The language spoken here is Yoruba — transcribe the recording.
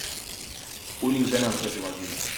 ó ní iṣẹ náà ń tẹsíwájú ni